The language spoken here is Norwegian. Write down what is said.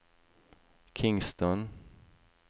Kingston